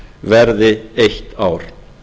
verði eitt ár